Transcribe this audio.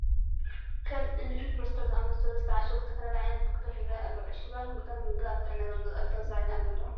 ከም እኒ ፓስታ ዝኣምሰሉ ዝተዓሸጉ ዝተፈላለዩ ዓይነት ምግብታት ይርአዩ ኣለዉ፡፡ ዕሹጋት ምግብታት ምምጋብ ኣብ ጥዕና ዘምፅኦ ኣሉታዊ ሳዕቤን ኣሎ ዶ?